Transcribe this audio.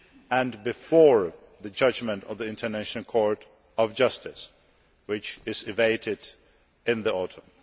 future, and before the judgment of the International Court of Justice, which is awaited in the autumn.